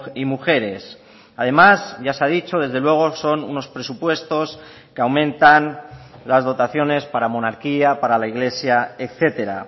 y mujeres además ya se ha dicho desde luego son unos presupuestos que aumentan las dotaciones para monarquía para la iglesia etcétera